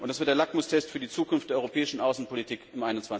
Und das wird der Lackmustest für die Zukunft der europäischen Außenpolitik im